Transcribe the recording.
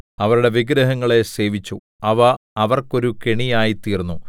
അവരുടെ വിഗ്രഹങ്ങളെ സേവിച്ചു അവ അവർക്കൊരു കെണിയായിത്തീർന്നു